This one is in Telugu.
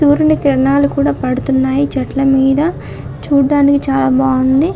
సూర్యుని కిరణాలు కూడా పడుతున్నాయి చెట్లు మీద చూడ్డానికి చాలా బాగుంది.